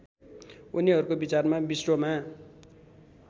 उनीहरूको विचारमा विश्वमा